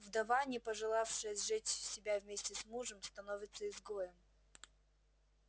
вдова не пожелавшая сжечь себя вместе с мужем становится изгоем